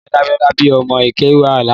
Ìyá Damilare bi òmò ikèwá lànã